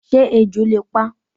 Sé ejò le pa?